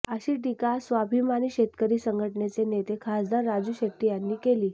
अशी टीका स्वाभिमानी शेतकरी संघटनेचे नेते खासदार राजू शेट्टी यांनी केली